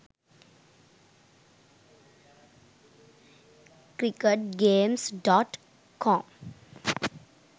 cricket games.com